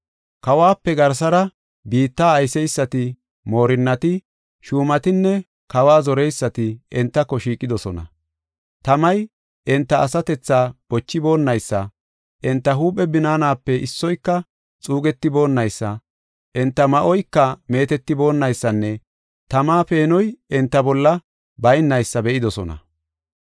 Kawuwape garsara biitta ayseysati, moorinnati, shuumatinne kawa zoreysati entako shiiqidosona. Tamay enta asatethaa bochiboonaysa, enta huuphe binaanape issoyka xuugetiboonnaysa, enta ma7oyka meetetiboonaysanne tama peenoy enta bolla baynaysa be7idosona.